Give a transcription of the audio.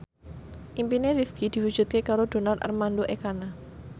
impine Rifqi diwujudke karo Donar Armando Ekana